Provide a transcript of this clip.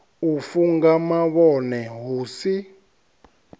u funga mavhone hu si